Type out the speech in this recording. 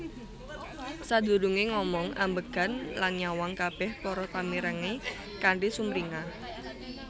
Sadurungé ngomong ambegan lan nyawang kabéh para pamirengé kanthi sumringah